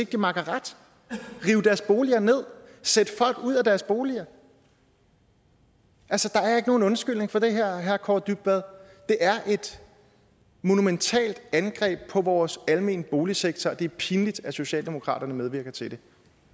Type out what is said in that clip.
de makker ret at rive deres boliger ned sætte folk ud af deres boliger altså der er ikke nogen undskyldning for det her herre kaare dybvad det er et monumentalt angreb på vores almene boligsektor og det er pinligt at socialdemokratiet medvirker til